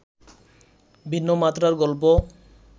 ভিন্নমাত্রার গল্প